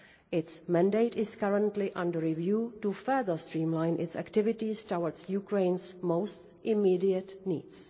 Its mandate is currently under review to further streamline its activities toward Ukraine's most immediate needs.